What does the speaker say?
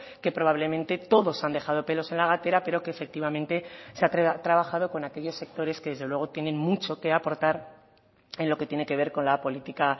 que probablemente todos han dejado pelos en la gatera pero que efectivamente se ha trabajado con aquellos sectores que desde luego tienen mucho que aportar en lo que tiene que ver con la política